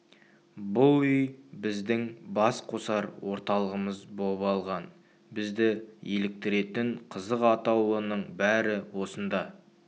бұл үй біздің бас қосар орталығымыз боп алған бізді еліктіретін қызық атаулының бәрі осында